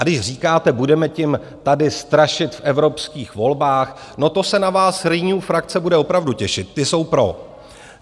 A když říkáte, budeme tím tady strašit v evropských volbách - no to se na vás Renew frakce bude opravdu těšit, ti jsou pro.